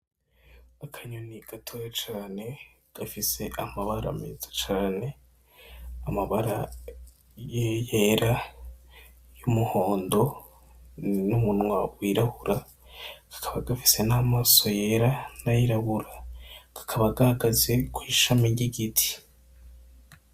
Akanyoni gatoya cane, gafise amabara meza cane, amabara yera, y'umuhondo n'umunwa wirabura, kakaba gafise n'amaso yera n'ayirabura, kakaba gahagaze kw'ishami ry'igiti.